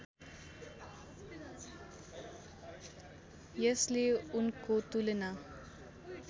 यसले उनको तुलना